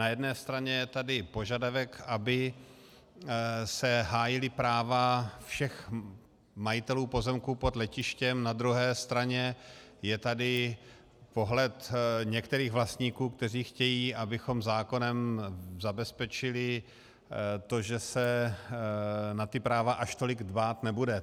Na jedné straně je tady požadavek, aby se hájila práva všech majitelů pozemků pod letištěm, na druhé straně je tady pohled některých vlastníků, kteří chtějí, abychom zákonem zabezpečili to, že se na ta práva až tolik dbát nebude.